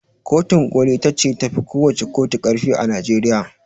Kotun ƙoli ita ce tafi kowacce ƙotu ƙarfi a Najeriya.